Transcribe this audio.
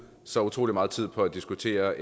så utrolig meget tid på at diskutere